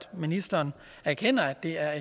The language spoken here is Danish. ministeren erkender at det er